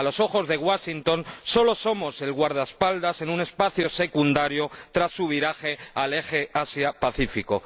A los ojos de Washington solo somos el guardaespaldas en un espacio secundario tras su viraje al eje Asia Pacífico.